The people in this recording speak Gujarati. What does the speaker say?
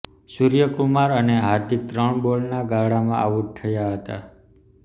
સૂર્યકુમાર અને હાર્દિક ત્રણ બોલના ગાળામાં આઉટ થયા હતા